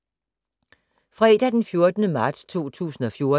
Fredag d. 14. marts 2014